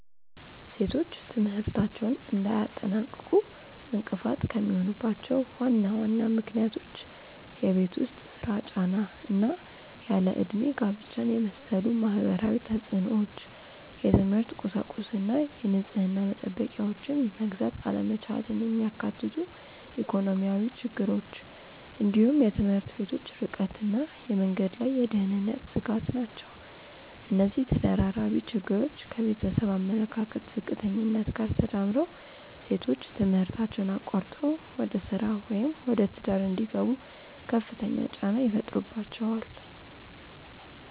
ሴቶች ትምህርታቸውን እንዳያጠናቅቁ እንቅፋት የሚሆኑባቸው ዋና ዋና ምክንያቶች የቤት ውስጥ ሥራ ጫና እና ያለ ዕድሜ ጋብቻን የመሰሉ ማህበራዊ ተፅዕኖዎች፣ የትምህርት ቁሳቁስና የንጽህና መጠበቂያዎችን መግዛት አለመቻልን የሚያካትቱ ኢኮኖሚያዊ ችግሮች፣ እንዲሁም የትምህርት ቤቶች ርቀትና የመንገድ ላይ የደህንነት ስጋት ናቸው። እነዚህ ተደራራቢ ችግሮች ከቤተሰብ አመለካከት ዝቅተኛነት ጋር ተዳምረው ሴቶች ትምህርታቸውን አቋርጠው ወደ ሥራ ወይም ወደ ትዳር እንዲገቡ ከፍተኛ ጫና ይፈጥሩባቸዋል።